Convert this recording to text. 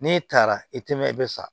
N'e taara i tɛ mɛn i bɛ sa